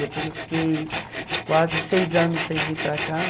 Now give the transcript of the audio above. Depois eu fiquei quase seis anos sem vir para cá.